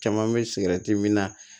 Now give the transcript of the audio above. Caman bɛ sigɛriti min na